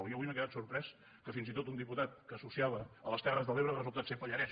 jo avui m’he quedat sorprès que fins i tot un diputat que associava a les terres de l’ebre ha resultat ser pallarès